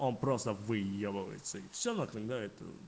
он просто выебывается и все на фига это